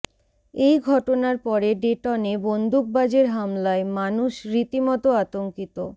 এই ঘটনার পরে ডেটনে বন্দুকবাজের হামলায় মানুষ রীতিমতো আতঙ্কিত